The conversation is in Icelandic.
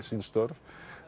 sín störf